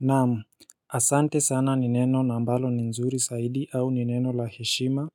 Naam, asante sana ni neno na ambalo ni nzuri zaidi au ni neno la heshima